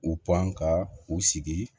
U pan ka u sigi